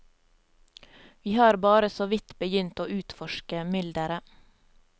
Vi har bare såvidt begynt å utforske mylderet.